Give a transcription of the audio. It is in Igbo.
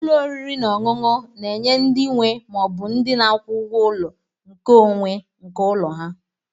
Ụlọ oriri na ọṅụṅu na-enye ndị nwe ma ọ bụ ndị na-akwụ ụgwọ ụlọ nkeonwe nke ụlọ ha.